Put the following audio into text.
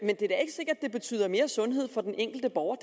det betyder mere sundhed for den enkelte borger